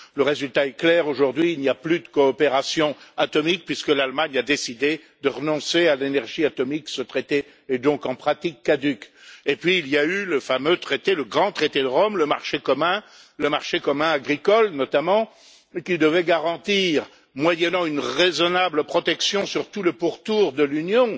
Le résultat est clair aujourd'hui, il n'y a plus de coopération atomique puisque l'Allemagne a décidé de renoncer à l'énergie atomique. Ce traité est donc en pratique caduc. Ensuite, il y a eu le fameux traité, le grand traité de Rome, le marché commun, le marché commun agricole notamment, qui devait garantir, moyennant une raisonnable protection sur tout le pourtour de l'Union,